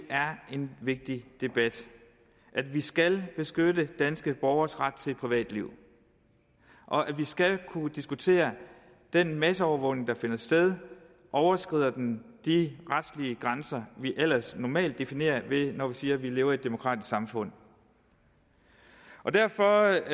en vigtig debat at vi skal beskytte danske borgeres ret til privatliv og at vi skal kunne diskutere den masseovervågning der finder sted overskrider den de retslige grænser vi ellers normalt definerer når vi siger at vi lever i et demokratisk samfund derfor